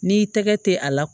N'i tɛgɛ tɛ a la